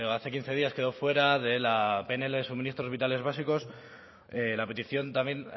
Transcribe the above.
hace quince días quedó fuera de la pnl de suministros vitales básicos la petición también